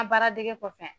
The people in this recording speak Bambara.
An baara dege kɔfɛ